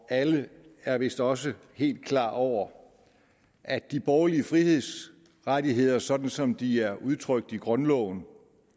og alle er vist også helt klar over at de borgerlige frihedsrettigheder sådan som de er udtrykt i grundloven